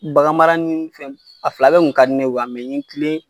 Bagan mara ni fɛnw, a fila bɛɛ kun ka di ne ye wa n ye n kilen